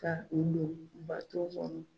Taa dɔɔnin dɔɔnin bato kɔnɔ.